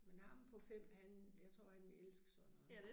Men ham på 5 han jeg tror han vil elske sådan noget